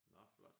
Nå flot